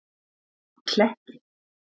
Kletti